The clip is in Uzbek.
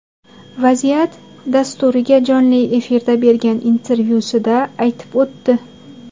Vaziyat” dasturiga jonli efirda bergan intervyusida aytib o‘tdi.